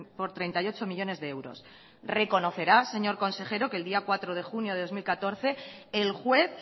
por treinta y ocho millónes de euros reconocerá señor consejero que el día cuatro de junio de dos mil catorce el juez